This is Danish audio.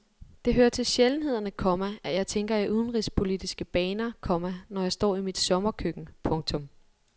Det hører til sjældenhederne, komma at jeg tænker i udenrigspolitiske baner, komma når jeg står i mit sommerkøkken. punktum